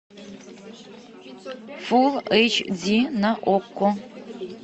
фул эйч ди на окко